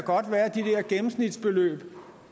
gennemsnitsbeløb